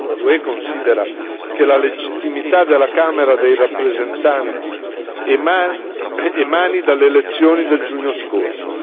L'UE considera che la legittimità della Camera dei rappresentanti emani dalle elezioni del giugno scorso.